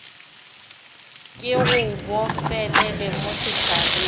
ke go bofelele mo sehlareng